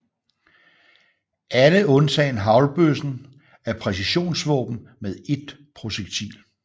Alle undtagen haglbøssen er præcisionsvåben med ét projektil